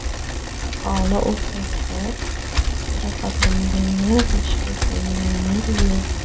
Aholi o‘rtasida jarohatlanganlar va shikastlanganlar yo‘q.